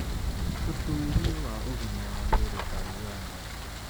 Ũtuĩria wa Ũgima wa Mwĩrĩ Tanzania